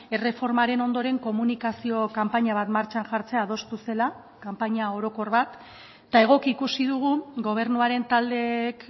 erreformaren ondoren komunikazio kanpaina bat martxan jartzea adostu zela kanpaina orokor bat eta egoki ikusi dugu gobernuaren taldeek